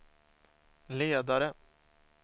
ledare